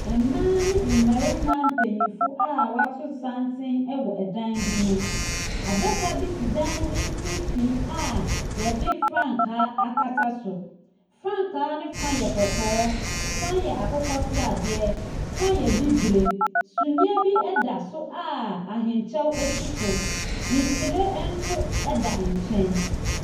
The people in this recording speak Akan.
Mmaa ne mmarima mpanyimfo a wɔato santen wɔ dan bi mu. Adaka bi si dan no mfimfin a wɔde frankaa akata so. Frankaa no fa yɛ kɔkɔɔ, fa yɛ akokɔ sradeɛ, fa yɛ bibire. Sumiiɛ bi da so a ahenkyɛw si so. Nhwiren da nkyɛn.